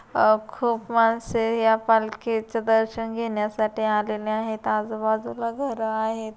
अ खूप माणसे या पालकीचे दर्शन घेण्यासाठी आलेले आहेत आजूबाजूला घरं आहेत.